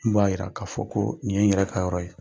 Min b'a yira k'a fɔ ko nin ye n yɛrɛ ka yɔrɔ ye.